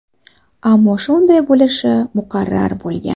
Ammo shunday bo‘lishi muqarrar bo‘lgan.